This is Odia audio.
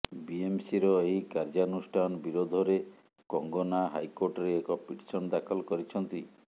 ବିଏସମିର ଏହି କାର୍ଯ୍ୟାନୁଷ୍ଠାନ ବିରୋଧରେ କଙ୍ଗନା ହାଇକୋର୍ଟରେ ଏକ ପିଟିସନ ଦାଖଲ କରିଛନ୍ତି